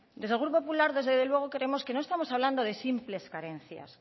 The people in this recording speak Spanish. desde el grupo popular desde luego creemos que no estamos hablando de simples carencias